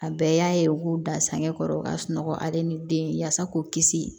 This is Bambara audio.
A bɛɛ y'a ye u k'u da sangɔrɔ ka sunɔgɔ ale ni den yasa k'u kisi